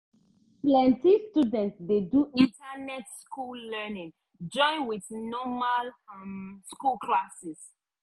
plenti student dey do internet school learning join with normal um school classes.